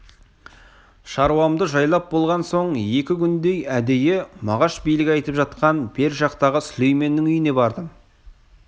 шаруамды жайлап болған соң екі күндей әдейі мағаш билік айтып жатқан бер жақтағы сүлейменнің үйіне бардым